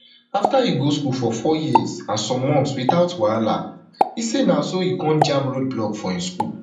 afta e go school for four years and some months witout wahala e say na so e come jam road block from im school